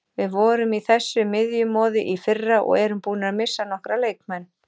Við vorum í þessu miðjumoði í fyrra og erum búnir að missa nokkra leikmenn.